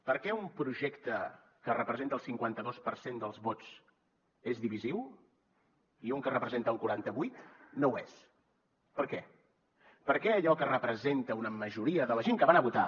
per què un projecte que representa el cinquanta dos per cent dels vots és divisiu i un que representa un quaranta vuit no ho és per què per què allò que representa una majoria de la gent que va anar a votar